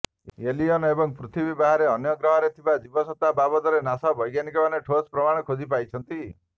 alien ଏବଂ ପୃଥିବୀ ବାହାରେ ଅନ୍ୟ ଗ୍ରହରେ ଥିବା ଜୀବସତ୍ତା ବାବଦରେ ନାସା ବୈଜ୍ଞାନିକମାନେ ଠୋସ୍ ପ୍ରମାଣ ଖୋଜି ପାଇଛନ୍ତି